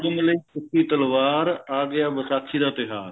ਤਿਖੀ ਤਲਵਾਰ ਆ ਗਿਆ ਵਿਸਾਖੀ ਦਾ ਤਿਉਹਾਰ